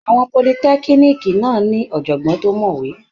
Àwọn politẹ́kíníìkì náà ní ọ̀jọ̀gbọ́n tó mọ̀wé.